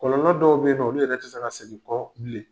Kɔlɔlɔ dɔw bɛ ye ninɔ olu yɛrɛ tɛ se ka segin bilen.